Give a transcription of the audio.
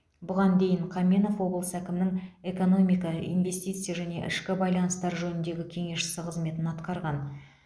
бұған дейін қаменов облыс әкімінің экономика инвестиция және ішкі байланыстар жөніндегі кеңесшісі қызметін атқарған